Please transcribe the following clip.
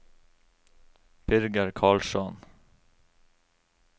Birger Karlsson